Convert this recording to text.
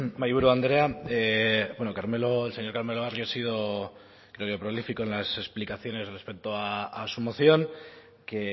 mahaiburu andrea bueno el señor carmelo barrio ha sido creo yo prolífico en las explicaciones respecto a su moción que